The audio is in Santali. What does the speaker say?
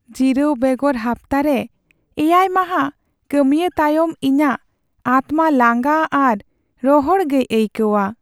ᱡᱤᱨᱟᱹᱣ ᱵᱮᱜᱚᱨ ᱦᱟᱯᱛᱟᱨᱮ ᱗ ᱢᱟᱦᱟ ᱠᱟᱹᱢᱤᱭ ᱛᱟᱭᱚᱢ ᱤᱧᱟᱹᱜ ᱟᱛᱢᱟ ᱞᱟᱸᱜᱟ ᱟᱨ ᱨᱚᱦᱚᱲ ᱜᱮᱭ ᱟᱹᱭᱠᱟᱹᱣᱟ ᱾